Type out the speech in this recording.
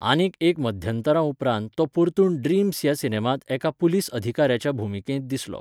आनीक एक मध्यंतरा उपरांत तो परतून ड्रीम्स ह्या सिनेमांत एका पुलीस अधिकाऱ्याच्या भुमिकेंत दिसलो.